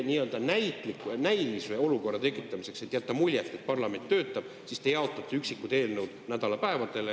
Nii-öelda näilise olukorra tekitamiseks, et jätta muljet, et parlament töötab, te jaotate nädalapäevadele üksikud eelnõud.